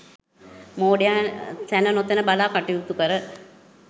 මෝඩයා තැන නොතැන බලා කටයුතු කර